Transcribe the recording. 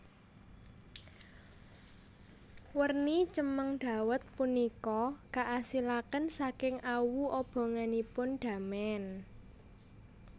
Werni cemeng dawet punika kaasilaken saking awu obonganipun damen